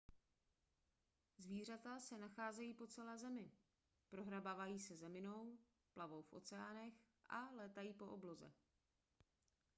zvířata se nacházejí po celé zemi prohrabávají se zeminou plavou v oceánech a létají po obloze